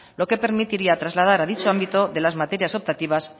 lo que permitiría trasladar a dicho ámbito de las materias optativa